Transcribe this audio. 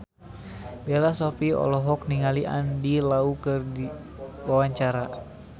Bella Shofie olohok ningali Andy Lau keur diwawancara